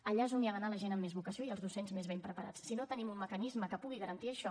allà és on ha d’anar la gent amb més vocació i els docents més ben preparats si no tenim un mecanisme que pugui garantir això